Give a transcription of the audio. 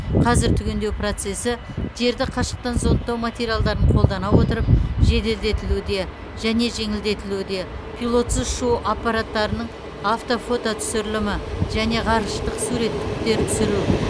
қазір түгендеу процесі жерді қашықтан зондтау материалдарын қолдана отырып жеделдетілуде және жеңілдетілуде пилотсыз ұшу аппараттарының автофототүсірілімі және ғарыштық суреттіктер түсіру